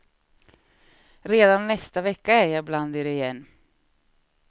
Redan nästa vecka är jag bland er igen.